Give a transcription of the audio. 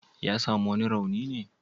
Ya sami wani rauni ne?